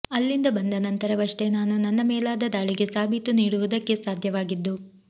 ಅಲ್ಲಿಂದ ಬಂದ ನಂತರವಷ್ಟೇ ನಾನು ನನ್ನ ಮೇಲಾದ ದಾಳಿಗೆ ಸಾಬೀತು ನೀಡುವುದಕ್ಕೆ ಸಾಧ್ಯವಾಗಿದ್ದು